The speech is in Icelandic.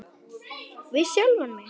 Við sjálfan mig.